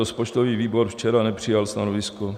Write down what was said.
Rozpočtový výbor včera nepřijal stanovisko.